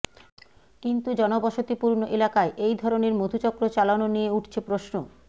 কিন্তু জনবসতিপূর্ণ এলাকায় এই ধরণের মধুচক্র চালানো নিয়ে উঠছে প্রশ্ন